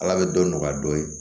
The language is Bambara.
Ala bɛ dɔ nɔgɔya dɔɔnin